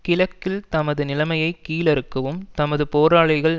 கிழக்கில் தமது நிலைமையை கீழறுக்கவும் தமது போராளிகள்